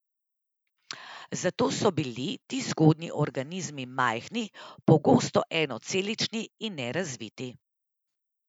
Zato so bili ti zgodnji organizmi majhni, pogosto enocelični in nerazviti.